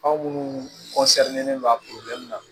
Anw munnu don a na